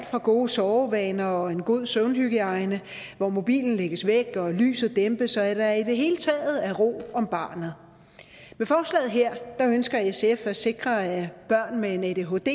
fra gode sovevaner og en god søvnhygiejne hvor mobilen lægges væk og lyset dæmpes til at der i det hele taget er ro om barnet med forslaget her ønsker sf at sikre at børn med en adhd